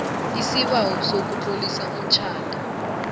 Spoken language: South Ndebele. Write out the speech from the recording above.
isibawo sokutlolisa umtjhado